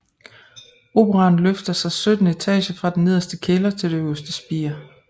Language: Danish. Operaen løfter sig sytten etager fra den nederste kælder til det øverste spir